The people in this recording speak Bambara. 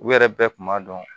U yɛrɛ bɛɛ kun b'a dɔn